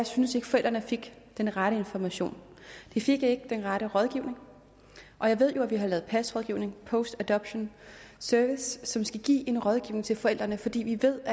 synes at forældrene fik den rette information de fik ikke den rette rådgivning og jeg ved jo at vi har lavet pas rådgivning post adoption services som skal give en rådgivning til forældrene fordi vi ved at